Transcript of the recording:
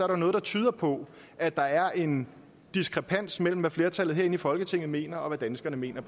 der noget der tyder på at der er en diskrepans mellem hvad flertallet herinde i folketinget mener og hvad danskerne mener